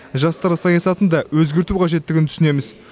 жастар саясатын да өзгерту қажеттігін түсінеміз